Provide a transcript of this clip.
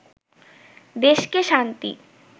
দেশকে শান্তি